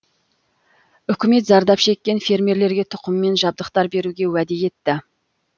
үкімет зардап шеккен фермерлерге тұқым мен жабдықтар беруге уәде етті